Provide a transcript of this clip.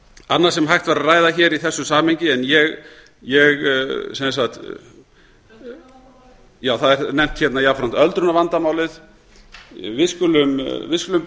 annað sem hægt væri að ræða hér í þessu samhengi en ég já það er nefnt hérna öldrunarvandamálið við skulum